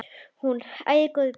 Hún: Æi, góði besti.!